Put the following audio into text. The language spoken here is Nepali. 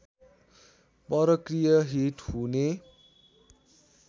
परकीय हित हुने